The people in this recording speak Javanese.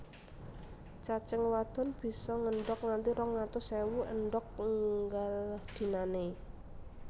Cacing wadon bisa ngendhog nganti rong atus ewu endhog nggal dinané